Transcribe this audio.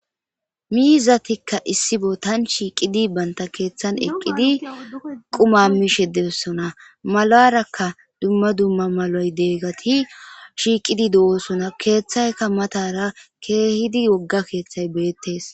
miizatikka issi botan shiiqidi banta keeththan eqqidi quma mishe dee'ossona malarakka dumma dumma malay deeggati shiiqidi do'oosona.keeththaykka matara keehidi wogga keeththay beettes.